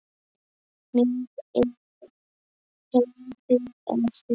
Mér er heiður að því.